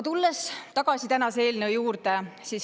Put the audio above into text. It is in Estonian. Tulen tagasi tänase eelnõu juurde.